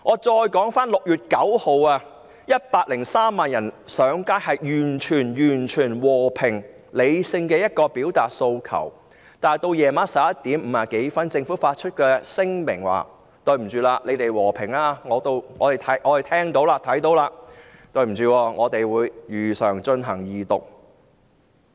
在6月9日 ，103 萬人上街，和平理性地表達訴求，但到了晚上11時50多分，政府發出聲明說"你們和平示威，我們已經看得到、聽得到；但對不起，我們會如常進行二讀"。